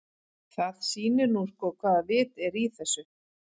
Það sýnir nú sko hvaða vit er í þessu.